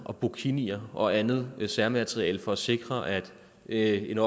burkinier og andet særmateriale for at sikre at en